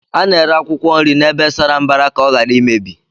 A na-ere akwụkwọ nri n'ebe sara mbara ka ọ ghara imebi